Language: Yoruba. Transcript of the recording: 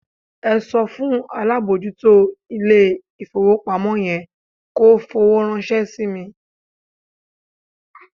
Ẹ sọ fún alábòójútó ilé-ìfowópamọ́ yẹn kó fowó ránṣẹ́ sí mi.